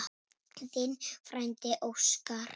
Þinn frændi Óskar.